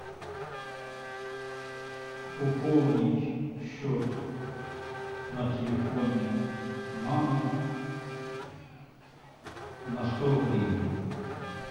пополнить счет на телефоне мамы на сто гривен